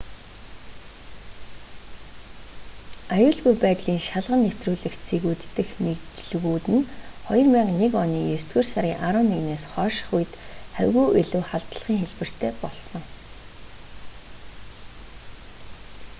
аюулгүй байдлын шалган нэвтрүүлэх цэгүүд дэх нэгжлэгүүд нь 2001 оны есдүгээр сарын 11-ээс хойшх үед хавьгүй илүү халдлагын хэлбэртэй болсон